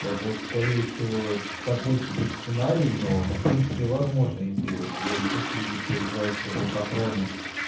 это скорее всего такой себе сценарий но в принципе возможно если твой отец любит поиграть в лохотроны